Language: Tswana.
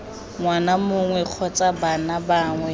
ngwana mongwe kgotsa bana bangwe